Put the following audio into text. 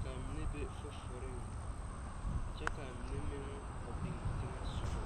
ka a mene be fufureŋ, kyɛ ka a mene meŋ a biŋ teŋe soɔ